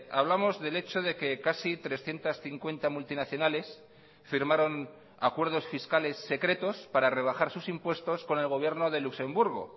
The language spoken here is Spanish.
hablamos del hecho de que casi trescientos cincuenta multinacionales firmaron acuerdos fiscales secretos para rebajar sus impuestos con el gobierno de luxemburgo